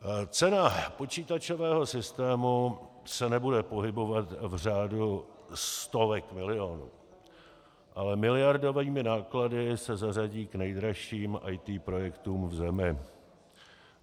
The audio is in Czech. Cena počítačového systému se nebude pohybovat v řádu stovek milionů, ale miliardovými náklady se zařadí k nejdražším IT projektům v zemi.